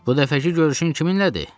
Bu dəfəki görüşün kiminlədir?